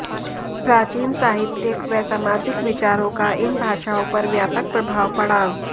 प्राचीन साहित्यिक व सामाजिक विचारों का इन भाषाओं पर व्यापक प्रभाव पड़ा